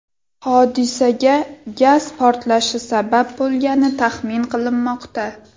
Hodisaga gaz portlashi sabab bo‘lgani taxmin qilinmoqda.